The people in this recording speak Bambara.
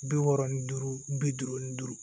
Bi wɔɔrɔ ni duuru bi duuru ni duuru